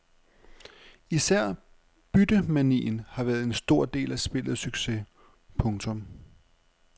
Især byttemanien har været en stor del af spillets succes. punktum